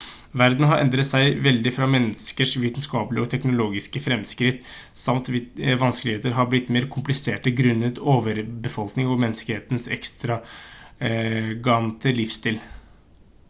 verden har endret seg veldig fra menneskers vitenskapelige og teknologiske fremskritt samt vanskeligheter har blitt mer kompliserte grunnet overbefolkning og menneskehetens ekstravagante livsstil